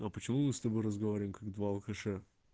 ну а почему мы с тобой разговариваем как два алкаша